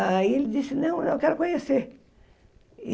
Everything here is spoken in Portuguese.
Aí ele disse, não, eu quero conhecer.